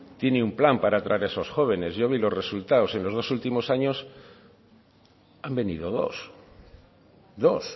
tiene un plan para traer esos jóvenes yo vi los resultados en los dos últimos años han venido dos dos